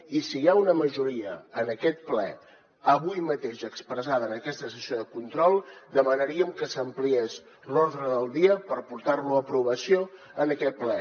i si hi ha una majoria en aquest ple avui mateix expressada en aquesta sessió de control demanaríem que s’ampliés l’ordre del dia per portar lo a aprovació en aquest ple